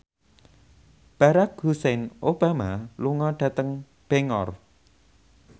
Barack Hussein Obama lunga dhateng Bangor